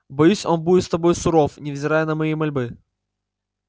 боюсь он будет с тобой суров невзирая на мои мольбы